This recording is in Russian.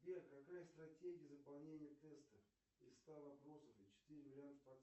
сбер какая стратегия заполнения теста из ста вопросов четыре варианта ответа